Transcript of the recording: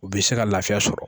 U bɛ se ka lafiya sɔrɔ